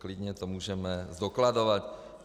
Klidně to můžeme zdokladovat.